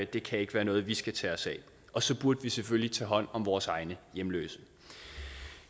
det kan ikke være noget vi skal tage os af og så burde vi selvfølgelig tage hånd om vores egne hjemløse